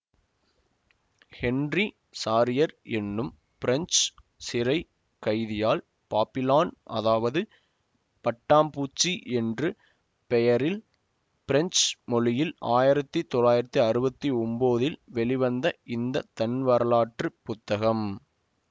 Henry Charriere என்னும் French சிறை கைதியால் பாப்பிலான் அதாவது பட்டாம்பூச்சி என்று பெயரில் பிரெஞ்சு மொழியில் ஆயிரத்தி தொள்ளாயிரத்தி அறவ த்தி ஒன்போதில் வெளிவந்த இந்த தன்வரலாற்று புத்தகம்